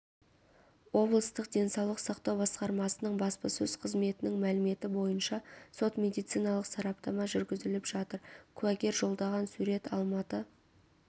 облыстық денсаулық сақтау басқармасының баспасөз қызметінің мәліметі бойынша сот-медициналық сараптама жүргізіліп жатыр куәгер жолдаған сурет алматы